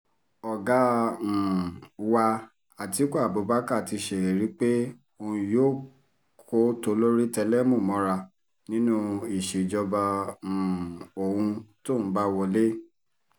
ọ̀gá um wa àtikukú abubakar ti sèlérí pé òun yóò kó tolórí tẹlẹ̀mú mọ́ra nínú ìṣèjọba um òun tóun bá wọlé